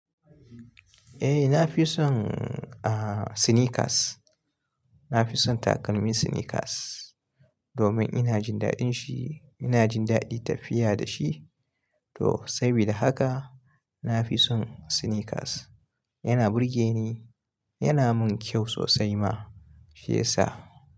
Eh, na fi son, ah, sneakers. Na fi son takalmin sneakers domin ina jin daɗin shi. Ina jin daɗin tafiya da shi to saboda haka na fi son sneakers. Yana burge ni, yana mun kyau sosai ma fiye sa.